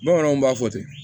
Bamananw b'a fɔ ten